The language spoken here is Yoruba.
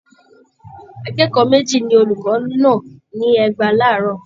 Akẹ́kọ̀ọ́ méjì ni olùkọ́ nà ní ẹgba láàárọ̀